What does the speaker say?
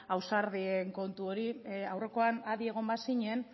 ausardien kontu hori aurrekoan adi egon bazinen